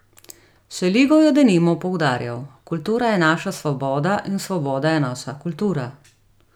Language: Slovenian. Šeligo je denimo poudarjal: 'Kultura je naša svoboda in svoboda je naša kultura'.